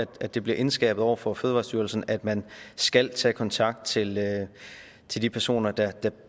godt at det bliver indskærpet over for fødevarestyrelsen at man skal tage kontakt til til de personer der